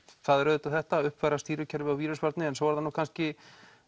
það er auðvitað þetta uppfæra stýrikerfi og vírusvarnir en svo er það nú kannski